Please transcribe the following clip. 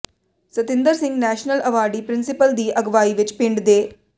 Satinder Singh national awardee principal ਦੀ ਅਗਵਾਈ ਵਿਚ ਪਿੰਡ ਦੇ